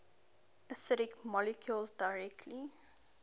acidic molecules directly